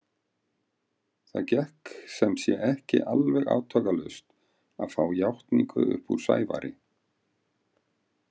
Það gekk sem sé ekki alveg átakalaust að fá játningu upp úr Sævari.